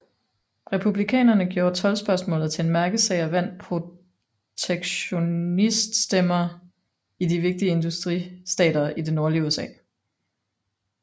Republikanerne gjorde toldspørgsmålet til en mærkesag og vandt protektioniststemmer i de vigtige industristater i det nordlige USA